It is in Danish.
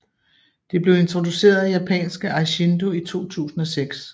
Det blev introduceret af japanske Eishindo i 2006